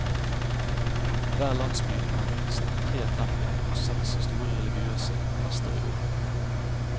Hver landsby har minst tre templer og seks store religiøse fester i året.